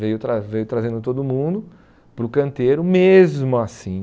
Veio trazen veio trazendo todo mundo para o canteiro, mesmo assim.